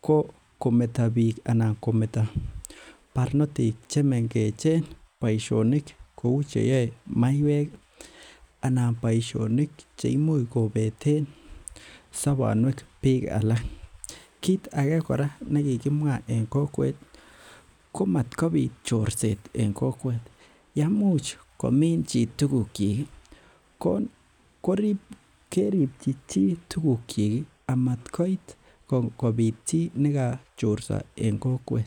ko kometa bik anan kometa barnotik chemengech boisionik che kouu cheyao maiwek ih anan boisionik cheimuch kobeten bik sobonuek alak. Kit age kora nikikimwaa en kokwet ih , komatkobit chorset en kokwet, yaimuch komin chi tuguk chik ih keribchi chi tugukyik amatkoit kobit chi nekochorsa en kokwet,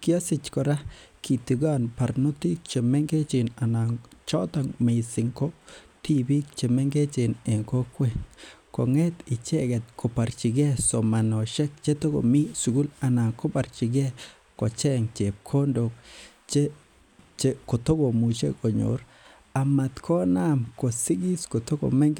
Kasich kora kitigan barnotik chemengechen anan choto missing ko tibik chemengech en kokwet kong'et icheket kobarchike somanet che toko mii sugul anan kobarchike kocheng chebkondok kotokomuche konyor amat ko Naam kosigis kotoko mengech.